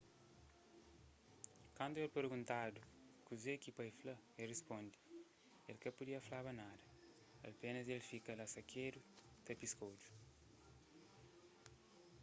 kantu el perguntadu kuze ki pai fla el risponde el ka pudia flaba nada apénas el fika sakedu la ta piska odju